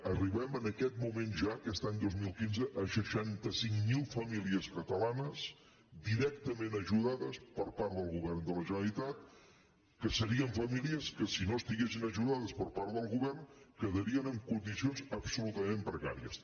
arribem en aquest moment ja aquest any dos mil quinze a seixanta cinc mil famílies catalanes directament ajudades per part del govern de la generalitat que serien famílies que si no estiguessin ajudades per part del govern quedarien en condicions absolutament precàries